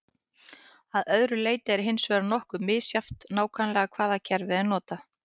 Að öðru leyti er hins vegar nokkuð misjafnt nákvæmlega hvaða kerfi er notað.